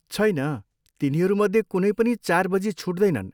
छैन, तिनीहरूमध्ये कुनै पनि चार बजी छुट्दैनन्।